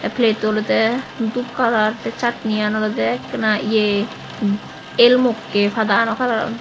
pletto olode doob kalar tay chatnian olode ekka ye el mokke padano kalaro.